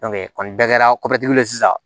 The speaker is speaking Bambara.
kɔni bɛɛ kɛra ye sisan